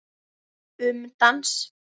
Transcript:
Um dans